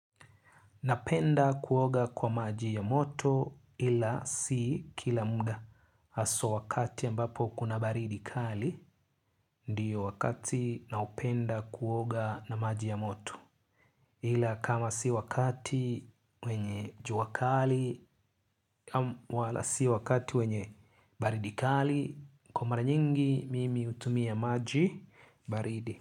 Napenda kuoga kwa maji ya moto ila si kila mda haswa wakati ambapo kuna baridi kali ndiyo wakati naopenda kuoga na maji ya moto ila kama si wakati wenye jua kali wala si wakati wenye baridi kali kwa mara nyingi mimi hutumia maji baridi.